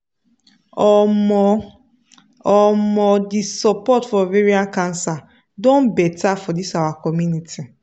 omo omo the support for ovarian cancer don better for this our community